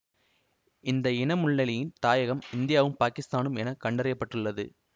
இந்த இன முள்ளெலியின் தாயகம் இந்தியாவும் பாகிசுதானும் என கண்டறியப் பட்டுள்ளது